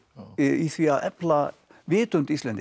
í því að efla vitund Íslendinga og